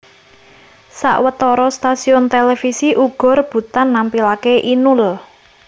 Sawetara stasiun télévisi uga rebutan nampilaké Inul